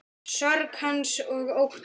Sorg hans og ótti.